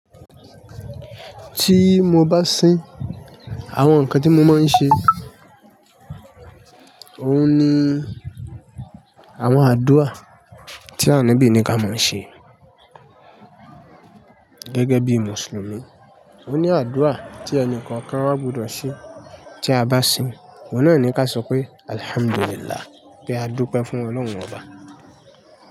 Tí mo bá sin, àwọn nǹkan tí mo máa ń ṣe òun ni àwọn àdúrà tí anabí ni ká máa ṣe gẹ́gẹ́ bí Mùsùlùmí. Ó ní àdúrà tí ẹni kọ̀ọ̀kan ó gbọdọ̀ ṣe tí a bá sin. Òun náà ni ká sọ pé "Alhamdulillah" pé a dúpẹ́ fún Ọlọ́run Ọba.